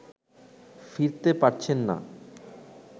ফিরতে পারছেন না